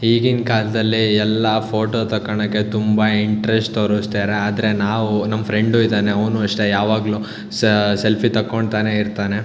ಈಗಿನ್ ಕಾಲದಲ್ಲಿ ಎಲ್ಲಾ ಫೋಟೋ ತಕೋಣಕ್ಕೆ ತುಂಬಾ ಇಂಟ್ರೆಸ್ಟ್ ತೋರ್ಸತ್ತಾರೆ ಆದ್ರೆ ನಾವು ನಮ್ಮ ಫ್ರೆಂಡು ಇದಾನೆ ಅವ್ನು ಅಷ್ಟೆ ಯಾವಾಗ್ಲು ಸಾ ಸೆಲ್ಫಿ ತಕೊಂತಾನೆ ಇರತ್ತಾನೆ.